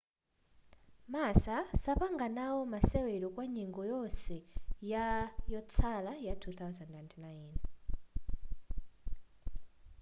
massa sapanga nao masewero kwa nyengo yonse ya yotsala ya 2009